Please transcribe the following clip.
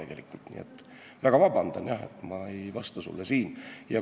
Nii et palun väga vabandust, et ma ei vasta sulle.